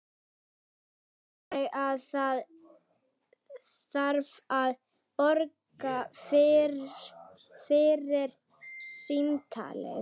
Ég gleymdi alveg að það þarf að borga fyrir símtalið.